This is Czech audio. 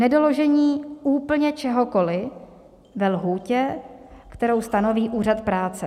Nedoložení úplně čehokoliv ve lhůtě, kterou stanoví úřad práce.